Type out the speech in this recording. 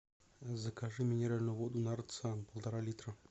закажи минеральную воду нарзан полтора литра